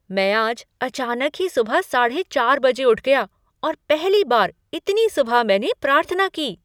मैं आज अचानक ही सुबह साढ़े चार बजे उठ गया और पहली बार इतनी सुबह मैंने प्रार्थना की।